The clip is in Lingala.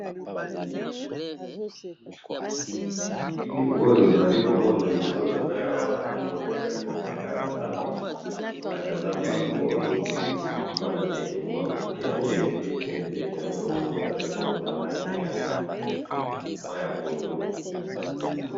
Na moni ndeke na zamba ezali na langi ya mai ya pondu